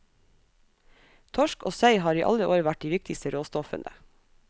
Torsk og sei har i alle år vært de viktigste råstoffene.